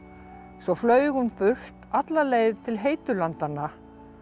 svo flaug hún burt alla leið til heitu landanna